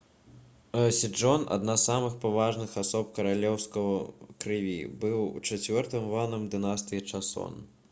седжон адна з самых паважаных асоб каралеўскай крыві быў чацвёртым ванам дынастыі часон